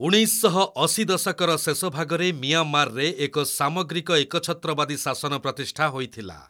ଉଣେଇଶଶହଅଶି ଦଶକର ଶେଷଭାଗରେ ମିଆଁମାରରେ ଏକ ସାମଗ୍ରିକ ଏକଛତ୍ରବାଦୀ ଶାସନ ପ୍ରତିଷ୍ଠା ହୋଇଥିଲା।